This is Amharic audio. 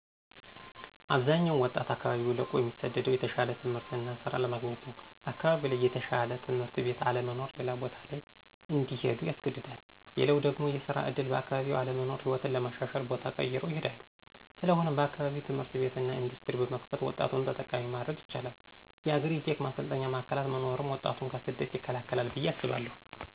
አብዛኛው ወጣት አካባቢውን ለቆ እሚሰደደው የተሻለ ትምህርት እና ሥራ ለማግኘት ነው። አካባቢው ላይ የተሻለ ትምህርት ቤት አለመኖር ሌላ ቦታ ላይ እንዲሄዱ ያስገድዳል። ሌላው ደግሞ የስራ ዕድል በአካባቢው አለመኖር ሕይወትን ለማሻሻል ቦታ ቀይረው ይሄዳሉ። ስለሆነም በአካባቢው ትምህርት ቤት እና ኢንዱስትሪ በመክፈት ወጣቱን ተጠቃሚ ማድረግ ይቻላል። የአግሪ-ቴክ ማሰልጠኛ ማዕከላት መኖርም ወጣቱን ከስደት ይከላከላል ብዬ አስባለሁ።